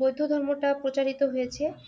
বৌদ্ধ ধর্মটা প্রচারিত হয়েছে আহ গৌতম বূদ্ধের